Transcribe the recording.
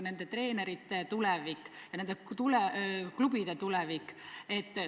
Nende treenerite ja nende klubide tulevik on mängus.